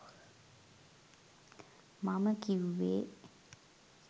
මම කිව්වේ